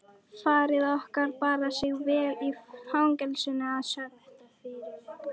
Faðir okkar bar sig vel í fangelsinu að sögn.